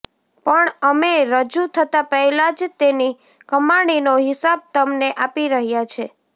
પણ અમે રજૂ થતા પહેલા જ તેની કમાણીનો હિસાબ તમને આપી રહ્યા છે